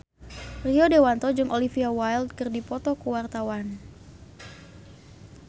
Rio Dewanto jeung Olivia Wilde keur dipoto ku wartawan